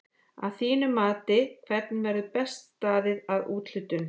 Að þínu mati hvernig verður best staðið að úthlutun?